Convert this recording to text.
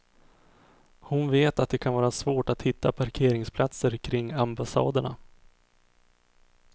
Hon vet att det kan vara svårt att hitta parkeringsplatser kring ambassaderna.